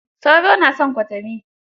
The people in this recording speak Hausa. Sauro na san kwatami